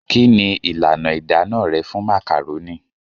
Kí ni ìlànà ìdáná rẹ fún màkàrónì?